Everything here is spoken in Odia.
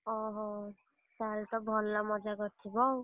ଓହୋ, ତାହେଲେ ତ ଭଲ ମଜା କରିଥିବ ଆଉ?